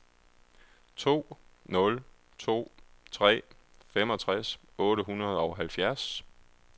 to nul to tre femogtres otte hundrede og halvfjerds